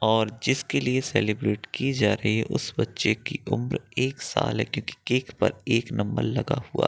और जिसके लिए सेलिब्रेट की जा रही है उस बच्चे की उम्र एक साल है क्योंकि केक पर एक नंबर लगा हुआ --